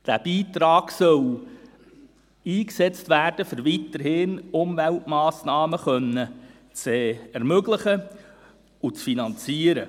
Der Beitrag soll eingesetzt werden, um weiterhin Umweltmassnahmen zu ermöglichen und zu finanzieren.